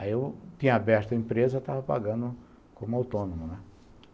Aí eu tinha aberto a empresa e estava pagando como autônomo, né.